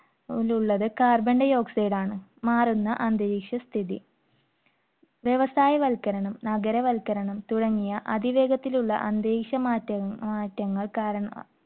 ഉള്ളത് cabon dioxide ആണ്. മാറുന്ന അന്തരീക്ഷ സ്ഥിതി വ്യവസായവൽക്കരണം, നഗരവൽക്കരണം തുടങ്ങിയ അതിവേഗത്തിലുള്ള അന്തരീക്ഷ മാറ്റങ്ങൾ~മാറ്റങ്ങൾ കാരണമാ~.